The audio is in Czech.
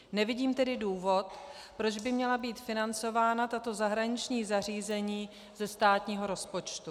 Nevidím tedy důvod, proč by měla být financována tato zahraniční zařízení ze státního rozpočtu.